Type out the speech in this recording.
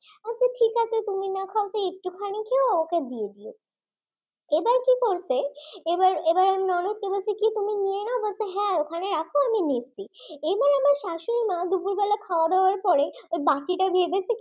এবার কি করছো এবার এবার আমার ননদ তুমি নিয়ে নাও। ওখানে রাখো আমি নিচ্ছি এবার আমার শাশুড়ি মা দুপুরবেলায় খাওয়া দাওয়ার পরে বাকিটা গিয়ে দেখি সবাইকে দিয়ে দিয়েছে